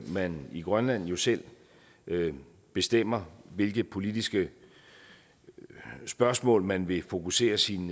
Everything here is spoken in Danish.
man i grønland jo selv bestemmer hvilke politiske spørgsmål man vil fokusere sin